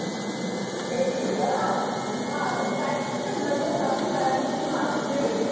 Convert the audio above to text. एक मिंट हां हां काय म्हंटला तू दहावी बारावीची marksheet